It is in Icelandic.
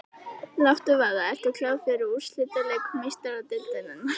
Láttu vaða- Ertu klár fyrir úrslitaleik Meistaradeildarinnar?